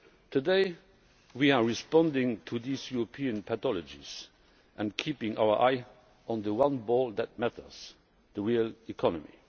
Today we are responding to these European pathologies and keeping our eye on the one ball that matters the real economy.